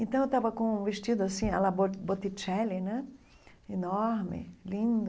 Então, eu estava com um vestido assim, à la Botticelli né, enorme, lindo,